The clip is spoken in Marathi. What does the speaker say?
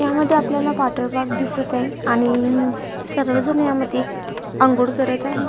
ह्यामध्ये आपल्याला वॉटर पार्क दिसत आहे आणि सर्व जण ह्या मध्ये आंघोळ करत आहे.